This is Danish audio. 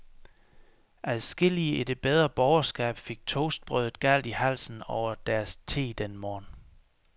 Adskillige i det bedre borgerskab fik toastbrødet galt i halsen over deres te den morgen.